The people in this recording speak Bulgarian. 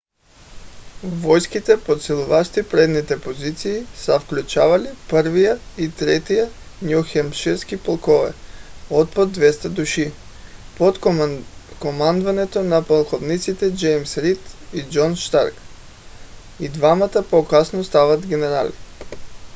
войските подсилващи предните позиции са включвали 1-ви и 3-ти ню хемпширски полкове от по 200 души под командването на полковниците джеймс рийд и джон старк и двамата по-късно стават генерали